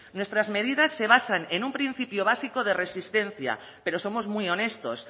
nuestras medidas se basan en un principio básico de resistencia pero somos muy honestos